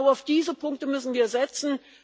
Genau auf diese Punkte müssen wir setzen.